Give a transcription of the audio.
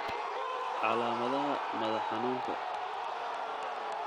Calaamadaha madax xanuunka